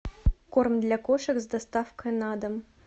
корм для кошек с доставкой на дом